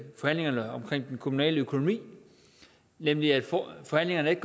forhandlingerne om den kommunale økonomi nemlig at forhandlingerne ikke